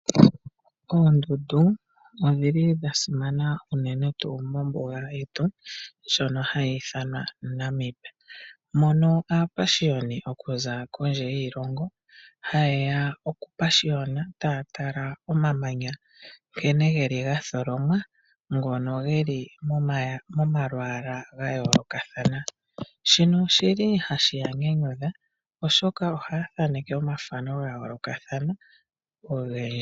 Oondundu odha simana unene tuu mombuga yetu ndjono hayi ithanwa Namib, moka aapashiyoni ya za kondje yiilongo haye okupashiyona taya tala nkene omamanya ga tholomwa, ngono ge li momalwaala ga yoolokathana. Shino ohashi ya nyanyudha, oshoka ohaya thaneke omathano ogendji ga yoolokathana.